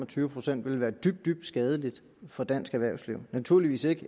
og tyve procent ville være dybt dybt skadelig for dansk erhvervsliv naturligvis ikke